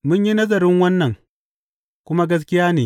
Mun yi nazarin wannan, kuma gaskiya ne.